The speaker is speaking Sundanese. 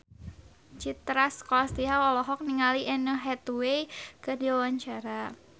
Citra Scholastika olohok ningali Anne Hathaway keur diwawancara